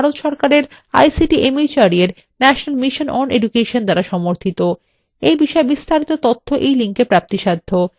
যা ভারত সরকারের ict mhrd এর national mission on education দ্বারা সমর্থিত